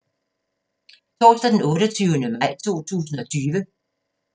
Torsdag d. 28. maj 2020